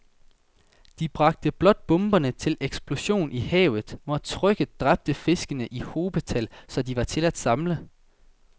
De bragte blot bomberne til eksplosion i havet, hvor trykket dræbte fiskene i hobetal, så de var til at samle